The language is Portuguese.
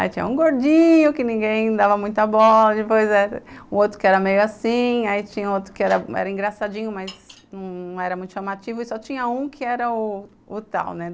Aí tinha um gordinho, que ninguém dava muita bola, depois o outro que era meio assim, aí tinha outro que era engraçadinho, mas não era muito chamativo e só tinha um que era o o tal, né?